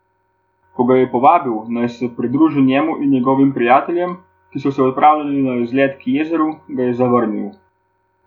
Ko ga je povabil, naj se pridrži njemu in njegovim prijateljem, ki so se odpravljali na izlet k jezeru, ga je zavrnil.